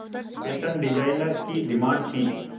fashion designer की demand थी